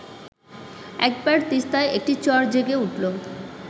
একবার তিস্তায় একটি চর জেগে উঠল